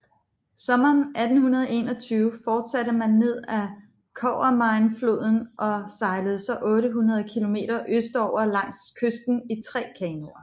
Sommeren 1821 fortsatte man ned ad Copperminefloden og sejlede så 800 kilometer østover langs kysten i tre kanoer